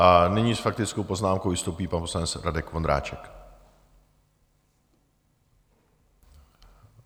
A nyní s faktickou poznámkou vystoupí pan poslanec Radek Vondráček.